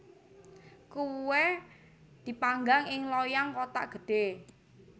Kuweh dipanggang ing loyang kothak gedhe